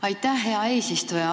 Aitäh, hea eesistuja!